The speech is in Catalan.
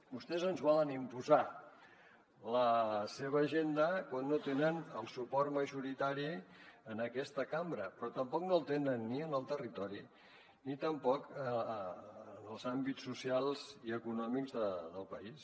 vostès ens volen imposar la seva agenda quan no tenen el suport majoritari en aquesta cambra però tampoc no el tenen ni en el territori ni tampoc en els àmbits socials i econòmics del país